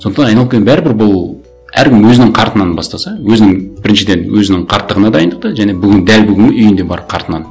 сондықтан айналып келгенде бәрібір бұл әркім өзінің қартынан бастаса өзінің біріншіден өзінің қарттығына дайындық та және бүгін дәл бүгін үйінде бар қартынан